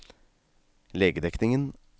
legedekningen